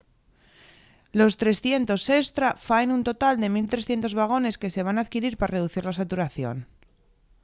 los 300 estra faen un total de 1 300 vagones que se van adquirir pa reducir la saturación